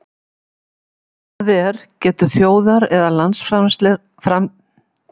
Það er getur þjóðar- eða landsframleiðsla haldið áfram að aukast að eilífu?